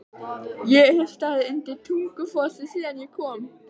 Ég hef staðið undir Tungufossi síðan ég kom.